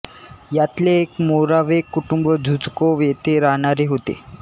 यातले एक मोरावेक कुटुंब झुझ्कोव्ह येथे राहणारे होते